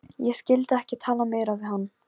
Henríetta, hvernig er dagskráin?